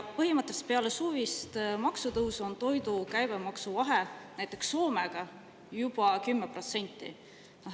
Põhimõtteliselt peale suvist maksutõusu on toidu käibemaksu vahe näiteks Soomega juba 10%.